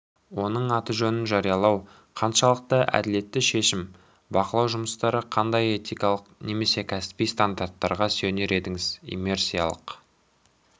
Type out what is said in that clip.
оның аты-жөнін жариялау қаншалықты әділетті шешім бақылау жұмыстары қандай этикалық немесе кәсіби стандарттарға сүйенер едіңіз иммерсиялық